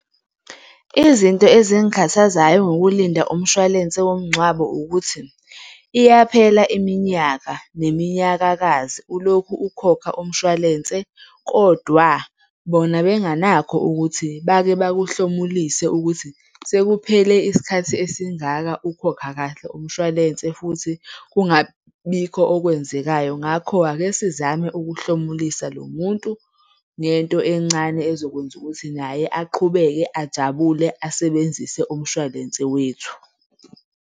Izinto ezingikhathazayo ngokulinda umshwalense womngcwabo ukuthi, iyaphela iminyaka neminyakakazi ulokhu ukhokha umshwalense kodwa bona benganakho ukuthi bake bakuhlomulise ukuthi sekuphele isikhathi esingaka ukhokha kahle umshwalense futhi kungabibikho okwenzekayo. Ngakho, ake sizame ukuhlomulisa lo muntu ngento encane ezokwenza ukuthi naye aqhubeke ajabule, asebenzise umshwalense wethu.